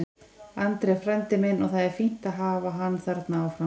Andri er frændi minn og það er fínt að hafa hann þarna áfram.